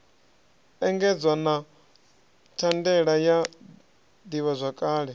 engedzwa na thandela ya ḓivhazwakale